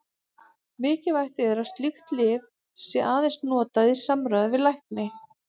Mikilvægt er að slík lyf séu aðeins notuð í samráði við lækni.